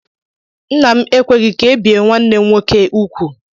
Ńnà m ekweghi ka ebie nwanne m nwoke úgwú.